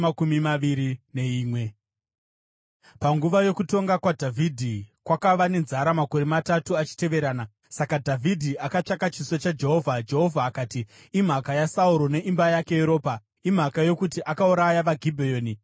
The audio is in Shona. Panguva yokutonga kwaDhavhidhi, kwakava nenzara makore matatu achiteverana; saka Dhavhidhi akatsvaka chiso chaJehovha. Jehovha akati, “Imhaka yaSauro neimba yake yeropa; imhaka yokuti akauraya vaGibheoni.”